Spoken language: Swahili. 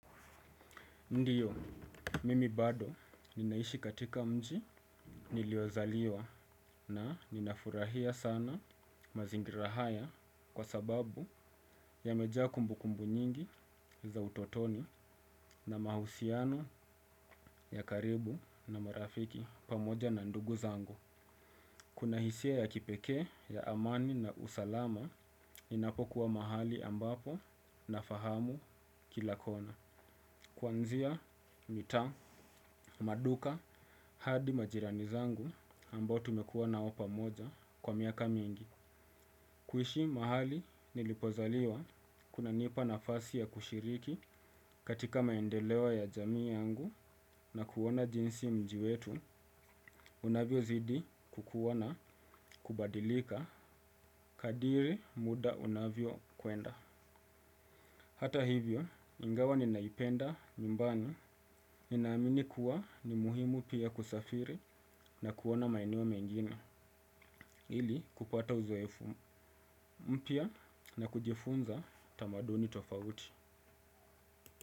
Ndiyo, mimi bado ninaishi katika mji niliozaliwa na ninafurahia sana mazingira haya kwa sababu yamejaa kumbukumbu nyingi za utotoni na mahusiano ya karibu na marafiki pamoja na ndugu zangu. Kuna hisia ya kipekee ya amani na usalama ninapokuwa mahali ambapo na fahamu kila kona. Kwanzia mitaa, maduka hadi majirani zangu ambao tumekuwa nao pamoja kwa miaka mingi. Kuishi mahali nilipozaliwa kunanipa nafasi ya kushiriki katika maendeleo ya jamii yangu na kuona jinsi mji wetu unavyozidi kukuwa na kubadilika kadri muda unavyo kwenda. Hata hivyo, ingawa ninaipenda nyumbani, ninaamini kuwa ni muhimu pia kusafiri na kuona maeneo mengine ili kupata uzoefu mpya na kujifunza tamaduni tofauti.